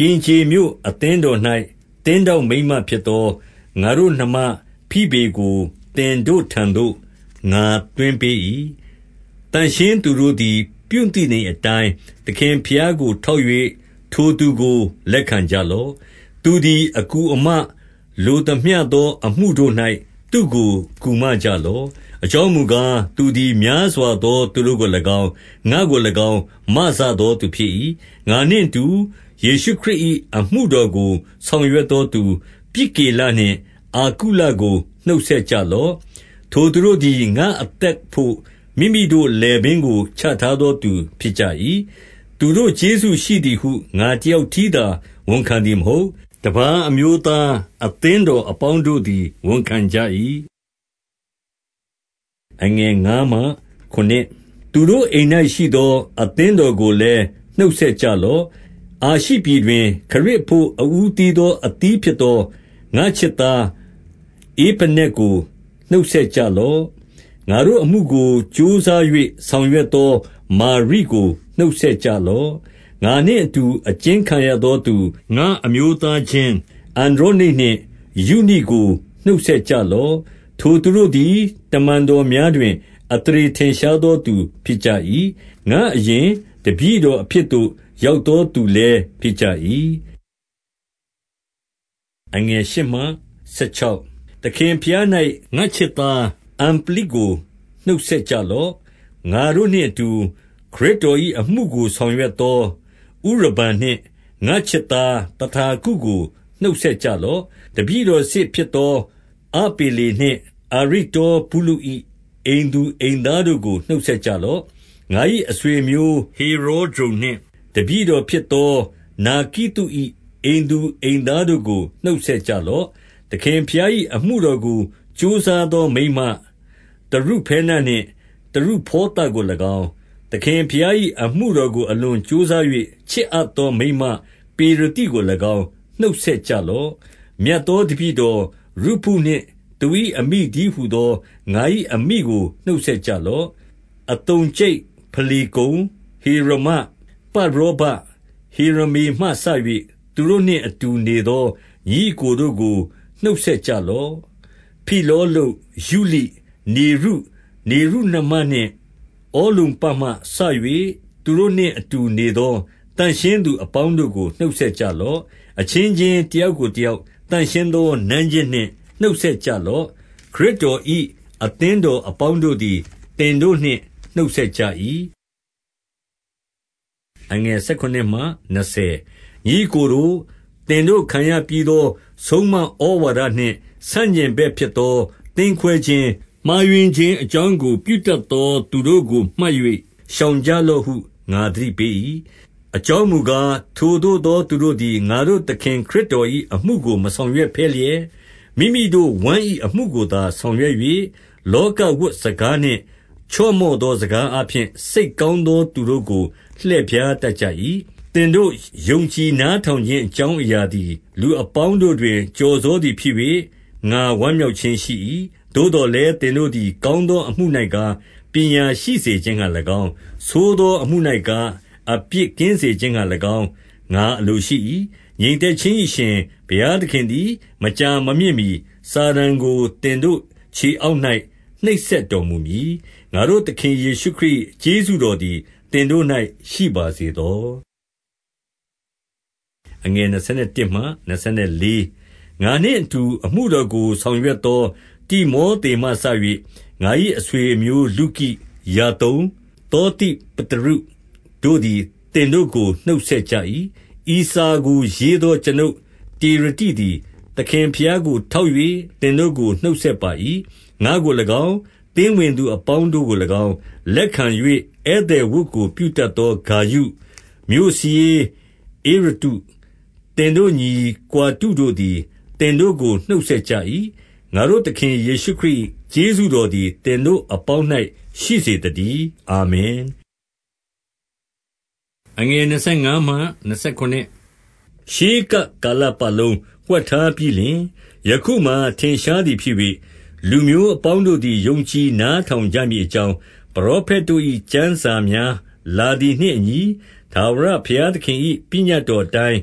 ကင်ခြေမြို့အသင်းတော်၌ သင်းထောက်မိန်းမဖြစ်သော ငါတို့ နှမဖိဗေကို သင်တို့ထံသို့ ငါသွင်းပေး၏။ 2 သန့်ရှင်းသူတို့သည် ပြုသင့်သည်အတိုင်း၊ သခင်ဘုရားကို ထောက်၍ ထိုသူကိုလက်ခံကြလော့။ သူသည် အကူအမလိုသမျှသော အမှုတို့၌ သူ့ကိုကူမကြလော့။ အကြောင်းမူကား၊ သူသည်များစွာသော သူတို့ကို၎င်း၊ ငါ့ကို၎င်း၊ မစသောသူဖြစ်၏။ 3 ငါနှင့်အတူယေရှုခရစ်၏ အမှုတော်ကို ဆောင်ရွက်သောသူ၊ ပြစ်ကိလနှင့်အာကုလကို နှုတ်ဆက်ကြ လော့။ 4 ထိုသူတို့သည် ငါ့အသက်အဘို့မိမိတို့လည်ပင်းကို ချထားသော သူဖြစ်ကြ၏။ သူတို့ကျေးဇူးရှိသည်ဟု ငါ တယောက်တည်းသာ ဝန်ခံသည်မဟုတ်။ တပါးအမျိုးသားအသင်းတော်အပေါင်းတို့သည် ဝန်ခံကြ၏။ 5 သူတို့အိမ်၌ ရှိသောအသင်းတော်ကိုလည်း နှုတ်ဆက်ကြလော့။ အာရှိပြည်တွင် ခရစ်အဘို့ အဦးသီးသော အသီးဖြစ်သော ငါ့ချစ်သားဧပဲနက်ကို နှုတ်ဆက်ကြလော့။ 6 ငါတို့အမှုကိုကြိုးစား၍ ဆောင်ရွက်သော မာရိကိုနှုတ်ဆက်ကြလော့။ 7 ငါနှင့်အတူအကျဉ်းခံရသောသူ၊ ငါအမျိုးသားချင်းအန္ဒြောနိတ်နှင့် ယုနိကို နှုတ်ဆက်ကြလော့။ ထိုသူတို့သည် တမန်တော်များတွင် အသရေထင်ရှားသောသူ ဖြစ်ကြ၏။ ငါ့အရင်တပည့်တော်အဖြစ်သို့ ရောက်သော သူလည်း ဖြစ်ကြ၏။ 8 သခင်ဘုရား၌ ငါ့ချစ်သားအမ္ပလိကို နှုတ်ဆက်ကြလော့။ 9 ငါတို့နှင့်အတူ ခရစ်တော်၏အမှုကို ဆောင်ရွက်သော ဥရဗန်နှင့် ငါ့ချစ်သားသတာခုကို နှုတ်ဆက်ကြ လော့။ 10 တပည့်တော်စစ်ဖြစ်သော အပေလေနှင့် အာရိတ္တောဗုလု၏ အိမ်သူအိမ်သားတို့ကို နှုတ်ဆက် ကြလော့။ 11 ငါ၏အဆွေအမျိုးဟေရောဒျုန်နှင့် တပည့်တော် ဖြစ်သောနာကိသု၏အိမ်သူအိမ်သားတို့ကို နှုတ်ဆက် ကြလော့။ 12 သခင်ဘုရား၏အမှုတော်ကို ကြိုးစားသော မိန်းမ၊ တရုဖဲနနှင့် တရုဖေါသကို၎င်း၊ သခင်ဘုရား၏ အမှုတော်ကို အလွန်ကြိုးစား၍ ချစ်အပ်သော မိန်းမ ပေရသိကို၎င်း နှုတ်ဆက်ကြလော့။ 13 မြတ်သောတပည့်တော်ရုဖုနှင့် သူ၏အမိတည်းဟူသော တပည့်တော်ရုဖုနှင့်သူ၏အမိတည်းဟူသော ငါ၏ အမိကို နှုတ်ဆက်ကြလော့။ 14 အသုံကြိတ်၊ ဖလေကုန်၊ ဟေရမ၊ ပတ်ရောဘ၊ ဟေရမေမှစ၍ သူတို့နှင့်အတူနေသော ညီအစ်ကိုတို့ကို နှုတ်ဆက်ကြလော့။ 15 ဖိလောလုပ်၊ ယုလိ၊ နေရု၊ နေရုနှမနှင့် ဩလုမ္ပမှ စ၍ သူတို့နှင့် အတူနေသော သန့်ရှင်းသူအပေါင်း တို့ကို နှုတ်ဆက်ကြလော့။ 16 အချင်းချင်းတယောက်ကို တယောက်သန့်ရှင်းသော နမ်းခြင်းနှင့် နှုတ်ဆက်ကြလော့။ ခရစ်တော်၏ အသင်းတော်အပေါင်းတို့သည် သင်တို့နှင့် နှုတ်ဆက်ကြ၏။ 17 ညီအစ်ကိုတို့၊ သင်တို့ခံရပြီးသော ဆုံးမဩဝါဒ နှင့်ဆန့်ကျင်ဘက်ဖြစ်သောသင်းခွဲခြင်း၊ မှားယွင်းခြင်း အကြောင်းကို ပြုတတ်သော သူတို့ကို မှတ်၍ရှောင်ကြလော့ဟု ငါသတိပေး၏။ 18 အကြောင်းမူကား ထိုသို့သောသူတို့သည် ငါတို့သခင်ခရစ်တော်၏ အမှုကိုမဆောင်ရွက်ဘဲလျက်၊ မိမိတို့ဝမ်း၏အမှုကိုသာ ဆောင်ရွက်၍၊ လောကဝတ်စကားနှင့်ချော့မော့သော စကားအားဖြင့် စိတ်ကောင်း သောသူတို့ကို လှည့်ဖြားတတ်ကြ၏။ 19 သင်တို့ ယုံကြည်နားထောင်ခြင်း အကြောင်းအရာသည် လူအပေါင်းတို့တွင် ကျော်စောသည်ဖြစ်၍၊ ငါဝမ်းမြောက်ခြင်းရှိ၏။ သို့သော်လည်း၊ သင်တို့သည် ကောင်းသောအမှု၌ကား၊ ပညာရှိစေခြင်းငှါ၎င်း၊ ဆိုးသော အမှု၌ကား၊ အပြစ်ကင်းစေခြင်းငှါ၎င်း၊ ငါအလိုရှိ၏။ 20 ငြိမ်သက်ခြင်း၏ အရှင်ဘုရားသခင်သည် မကြာမမြင့်မှီ စာတန်ကို သင်တို့ခြေအောက်၌ နှိပ်စက် တော်မူမည်။ ငါတို့သခင်ယေရှုခရစ်၏ ကျေးဇူးတော်သည်သင်တို့၌ ရှိပါစေသော။ 21 ငါနှင့်အတူ အမှုတော်ကို ဆောင်ရွက်သော တိမောသမှစ၍ ငါ၏အဆွေအမျိုးလုကိ၊ ယာသုန်သော သိပတရုတို့သည် သင်တို့ကို နှုတ်ဆက်ကြ၏။ 22 ဤစာကိုရေးသော ကျွန်ုပ်တေရတိသည် သခင် ဘုရားကို ထောက်၍ သင်တို့ကို နှုတ်ဆက်ပါ၏။ 23 ငါ့ကို၎င်း၊ သင်းဝင်သူအပေါင်းတို့ကို၎င်း၊ လက်ခံ၍ဧည့်သည် ဝတ်ပြုတတ်သော ဂါယု၊ မြို့စာရေး ဧရတ္တု၊ သင်တို့ညီကွာတုတို့သည် သင်တို့ကို နှုတ်ဆက်ကြ၏။ 24 ငါတို့သခင်ယေရှုခရစ်၏ ကျေးဇူးတော်သည် သင်တို့အပေါင်း၌ ရှိစေသတည်း။ အာမင်။ 25 ရှေးကပ်ကာလပတ်လုံး ဝှက်ထားပြီးလျှင် ယခုမှာ ထင်ရှားသည်ဖြစ်၍၊ 26 လူမျိုးအပေါင်းတို့သည် ယုံကြည်နားထောင်ကြမည်အကြောင်း ပရောဖက်တို့၏ကျမ်းစာများလာသည် နှင့်အညီ၊ ထာဝရဘုရားသခင်၏ ပညတ်တော်အတိုင်း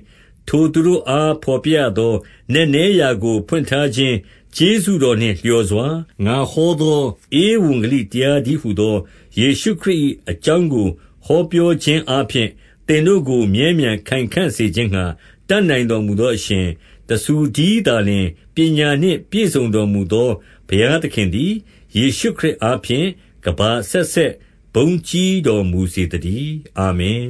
ထိုသူတို့အားဘော်ပြရသော နက်နဲရာကို ဖွင့်ထားခြင်း ကျေးဇူးတော်နှင့်လျော်စွာ၊ ငါဟောသောဧဝံဂေလိတရားတည်းဟူသော ယေရှုခရစ်၏ အကြောင်းကို ဟောပြောခြင်းအားဖြင့်၊ သင်တို့ကို မြဲမြံခိုင်ခံ့စေခြင်းငှါ တတ်နိုင်တော်မူသောအရှင်၊ 27 တဆူတည်းသာလျှင် ပညာနှင့် ပြည့်စုံတော်မူသော ဘုရားသခင်သည်၊ ယေရှုခရစ်အားဖြင့် ကမ္ဘာအဆက်ဆက် ဘုန်းကြီးတော်မူစေသတည်း။ အာမင်